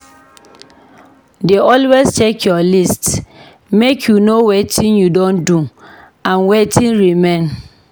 Dey always check your list make you know wetin you don do and wetin remain.